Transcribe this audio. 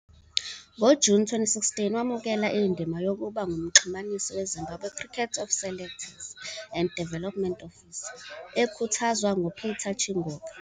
NgoJuni 2016 wamukele indima yokuba ngumxhumanisi weZimbabwe Cricket of selectors and development officer, ekhuthazwa nguPeter Chingoka.